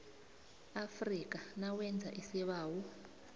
afrika nawenza isibawo